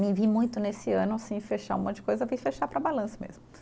Me vi muito nesse ano assim fechar um monte de coisa, fui fechar para balanço mesmo.